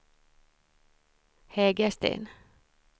Hägersten